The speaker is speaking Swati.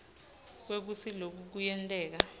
kwekutsi loku kuyenteka